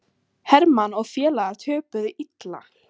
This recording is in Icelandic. Hermann og félagar töpuðu illa